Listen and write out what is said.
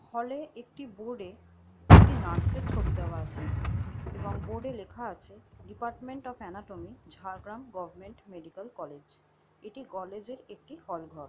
হলে একটি বোর্ডে একটি নার্স -এর ছবি দেওয়া আছে এবং বোর্ডে লেখা আছে department of anatomy Jhargram government medical college. এটি কলেজের একটি হল ঘর ।